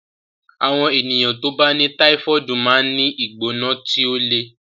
Àwọn ènìyàn tí ó bá ní táífọ̀ọdu máa ń ní ìgbóná tí ó le